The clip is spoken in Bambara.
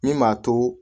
Min b'a to